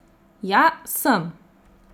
Ja, sem.